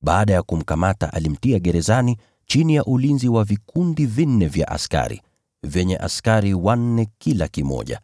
Baada ya kumkamata alimtia gerezani, chini ya ulinzi wa vikundi vinne vya askari, vyenye askari wanne kila kimoja.